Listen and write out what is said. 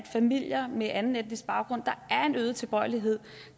familier med anden etnisk baggrund er en øget tilbøjelighed